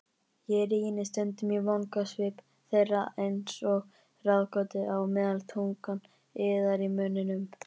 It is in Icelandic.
Ég rýni stundum í vangasvip þeirra einsog ráðgátu á meðan tungan iðar í munninum.